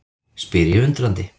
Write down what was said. spyr ég undrandi.